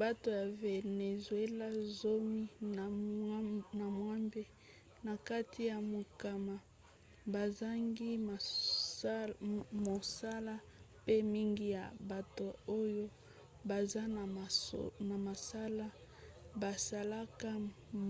bato ya vénézuéla zomi na mwambe na kati ya mokama bazangi mosala mpe mingi ya bato oyo baza na mosala basalaka